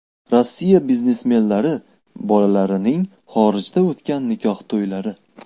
Rossiya biznesmenlari bolalarining xorijda o‘tgan nikoh to‘ylari .